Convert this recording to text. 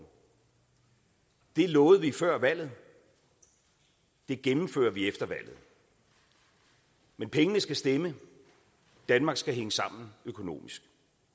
det lovede vi før valget det gennemfører vi efter valget men pengene skal stemme danmark skal hænge sammen økonomisk